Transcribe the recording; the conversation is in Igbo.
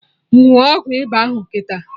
Ṅụọ ọgwụ ịba ahụ kịta!